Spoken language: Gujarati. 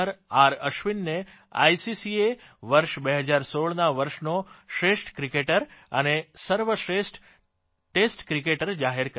અશ્વિનને આઇસીસીએ વર્ષ 2016ના વર્ષનો શ્રેષ્ઠ ક્રિકેટર અને સર્વશ્રેષ્ઠ ટેસ્ટ ક્રિકેટર જાહેર કર્યો છે